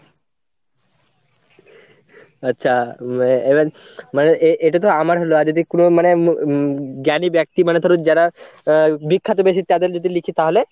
আচ্ছা even মানে এটা তো আমার হলো, আর যদি কোনো মানে উম জ্ঞানী ব্যক্তি মানে ধরো যারা বিখ্যাত বেশি তাদের যদি লিখি তাহলে?